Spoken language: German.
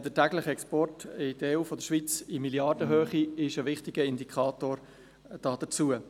Der tägliche Export in Milliardenhöhe aus der Schweiz in die EU ist ein wichtiger Indikator dafür.